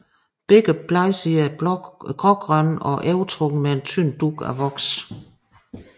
Begge bladsider er grågrønne og overtrukket med en tynd dug af voks